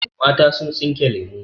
Mata sun tsinke lemu.